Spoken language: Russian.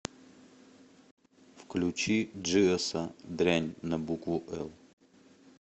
включи джиоса дрянь на букву л